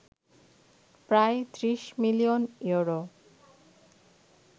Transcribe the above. প্রায় ৩০ million euro